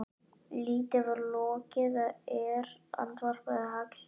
Lítið var lokið er, andvarpaði Hallgerður.